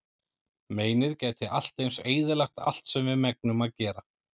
Meinið gæti allt eins eyðilagt allt sem við megnum að gera.